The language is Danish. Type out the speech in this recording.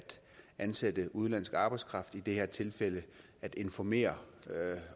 ansætte udenlandsk arbejdskraft i det her tilfælde at informere